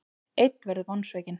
Einn verður vonsvikinn.